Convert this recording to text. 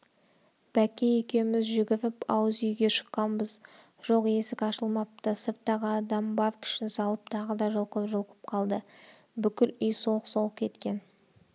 бәкке екеуміз жүгіріп ауыз үйге шыққанбыз жоқ есік ашылмапты сырттағы адам бар күшін салып тағы да жұлқып-жұлқып қалды бүкіл үй солқ-солқ еткен